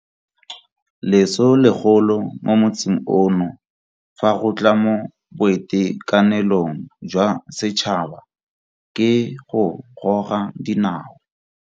Leso legolo mo motsing ono fa go tla mo boitekanelong jwa setšhaba ke go goga dinao.